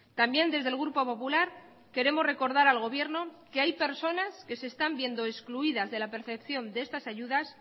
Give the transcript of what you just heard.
también desde el grupo popular queremos recordar al gobierno que hay personas que se están viendo excluidas de la percepción de estas ayudas